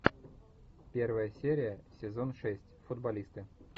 первая серия сезон шесть футболисты